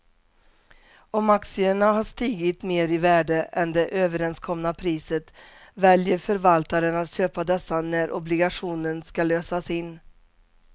Om aktierna har stigit mer i värde än det överenskomna priset väljer förvaltaren att köpa dessa när obligationen ska lösas in.